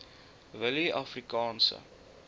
willieafrikaanse